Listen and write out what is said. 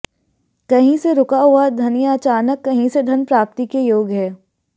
कहीं से रुका हुआ धन या अचानक कहीं से धन प्राप्ति के योग हैं